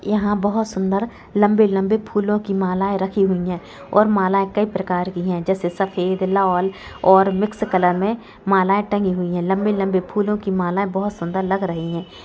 यहाँ बहुत सुंदर लम्बे-लम्बे फूलों की मालाएं रखी हुई हैं और मालाएं कई प्रकार की हैं जैसे सफ़ेद लाल और मिक्स कलर में मालाएं टंगी हुई है लम्बे-लम्बे फूलो की मालाएं बहुत सुंदर लग रही है।